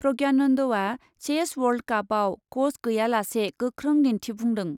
प्रज्ञानन्दआ chess world कापआव क'च गैयालासे गोख्रों दिन्थिफुंदों।